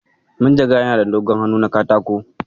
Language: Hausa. Manjagarar yana da dogon hannu na katako.